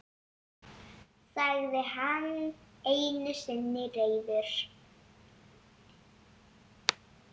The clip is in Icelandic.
sagði hann einu sinni reiður.